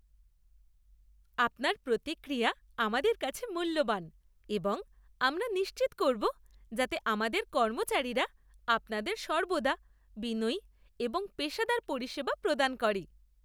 আপনার প্রতিক্রিয়া আমাদের কাছে মূল্যবান এবং আমরা নিশ্চিত করবো যাতে আমাদের কর্মচারীরা আপনাদের সর্বদা বিনয়ী এবং পেশাদার পরিষেবা প্রদান করে।